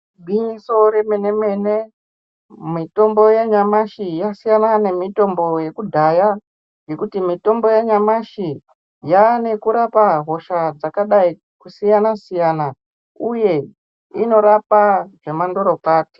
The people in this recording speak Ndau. Gwinyiso remenemene mitombo yanyamashi yasiyana nemitombo yekudhaya nekuti mitombo yanyamashi yane kurapa hosha dzakadai kusiyana siyana uye inorapa zvemandorokwati.